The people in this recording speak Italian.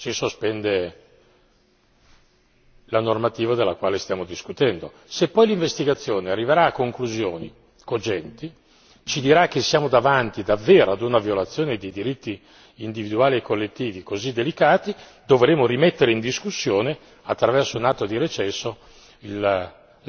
C'è un sospetto, si sospende la normativa della quale stiamo discutendo, se poi l'investigazione arriverà a conclusioni cogenti, ci dirà che siamo davanti davvero ad una violazione dei diritti individuali e collettivi così delicati, dovremo rimettere in discussione attraverso un atto di recesso